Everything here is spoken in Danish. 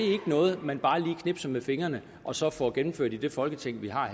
noget man bare lige knipser med fingrene og så får gennemført i det folketing vi har